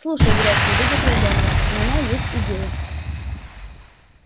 слушай грег не выдержал донован у меня есть идея